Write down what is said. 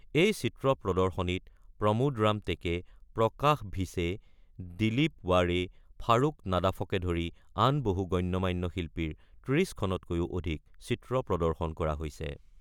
এই চিত্ৰ প্ৰদৰ্শনীত প্ৰমোদ ৰাম টেকে, প্ৰকাশ ভিছে, দিলীপ ৱাড়ে, ফাৰুক নাডাফকে ধৰি আন বহু গণ্য-মান্য শিল্পীৰ ৩০খনতকৈও অধিক চিত্ৰ প্ৰদৰ্শন কৰা হৈছে।